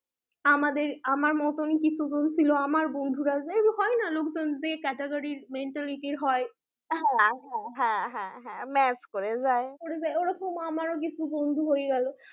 আমাদের আমার মতন কিছু জন ছিল আমার বন্ধুরা হয়না লোকজন যে category র mentality র হয়, হ্যাঁ হ্যাঁ হ্যাঁ match করে যায় ওরকম আমার ও কিছু বন্ধু হয়ে গেলো